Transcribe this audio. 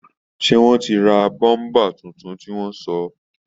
Seé wọ́n ti ra bọ́ḿbà tuntun tí wọ́n sọ̀